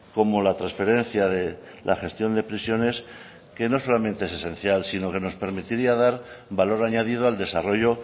como la transferencia de la gestión de prisiones que no solamente es esencial sino que nos permitiría dar valor añadido al desarrollo